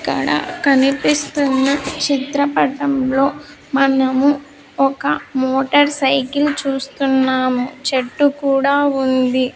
ఇక్కడ కనిపిస్తున్న చిత్రపటం లో మనము ఒక మోటర్ సైకిల్ చూస్తున్నాము చెట్టు కూడా ఉంది.